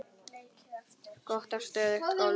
Gott og stöðugt golf!